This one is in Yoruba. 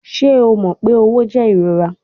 Ṣe o mọ pe õwo jẹ irora?